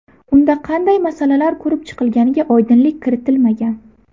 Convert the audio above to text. Unda qanday masalalar ko‘rib chiqilganiga oydinlik kiritilmagan.